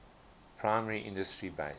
primary industry based